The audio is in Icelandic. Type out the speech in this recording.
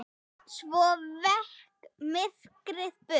Svo vék myrkrið burt.